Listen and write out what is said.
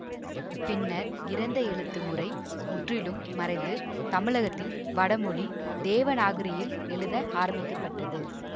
பின்னர் கிரந்த எழுத்து முறை முற்றிலும் மறைந்து தமிழகத்தில் வடமொழி தேவநாகரியில் எழுத ஆரம்பிக்க பட்டது